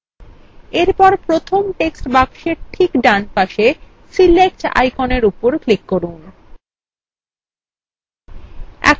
এরপর প্রথম text box ঠিক ডান পাশে select আইকনের উপর click করুন